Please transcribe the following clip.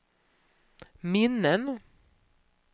minnen